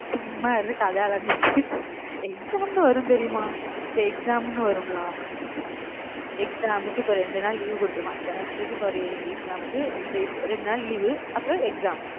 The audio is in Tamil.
சும்மா இருந்து கதை அளந்துட்டு exam ன்னு வரும் தெரியுமா? இந்த exam ன்னு வரும்ல exam க்கு இப்ப ரெண்டு நாள் leave குடுத்திருப்பான் semester க்கு இப்ப ஒரு exam க்கு இந்த இரண்டு நாள் leave அப்புறம் exam